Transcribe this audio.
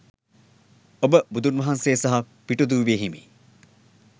ඔබ බුදුන් වහන්සෙ සහ පිටිදුවෙ හිමි